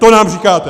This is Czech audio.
To nám říkáte!